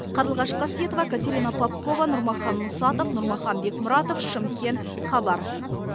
қарлығаш қасиетова катерина попкова нұрмахан мұсатов нұрмахан бекмұратов шымкент хабар